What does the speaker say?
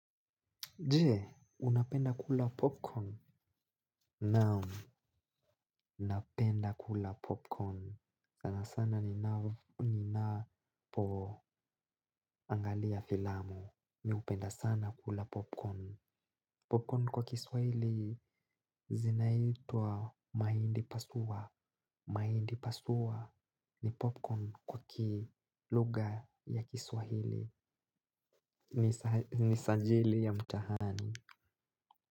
Je, unapenda kula popcorn. Naam napenda kula popcorn sana sana ninapo angalia filamu. Mi hupenda sana kula popcorn. Popcorn kwa kiswahili zinaitwa mahindi pasua. Mahindi pasua ni popcorn kwa kiluga ya kiswahili. Ni sajili ya mtahani.